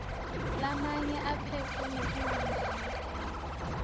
lamanye aphetfwe nguhulumende